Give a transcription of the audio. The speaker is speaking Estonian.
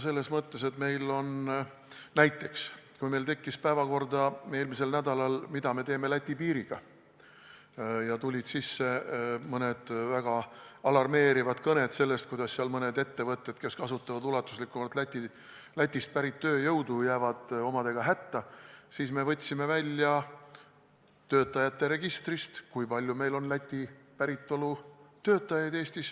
Selles mõttes, et näiteks eelmisel nädalal, kui meil tekkis päevakorda küsimus, mida me teeme Läti piiriga, ja tulid sisse mõned väga alarmeerivad kõned sellest, kuidas mõned ettevõtted, kes kasutavad ulatuslikumalt Lätist pärit tööjõudu, jäävad omadega hätta, siis me võtsime töötajate registrist välja andmed, kui palju meil on Läti päritolu töötajaid.